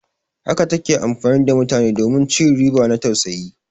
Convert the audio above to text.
Haka ta ke amfani da mutane domin ci riba na tausayi.